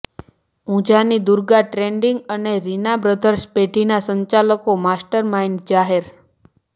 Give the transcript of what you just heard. ઊંઝાની Durga trading અને Reena brothers પેઢીના સંચાલકો માસ્ટર માઇન્ડ જાહેર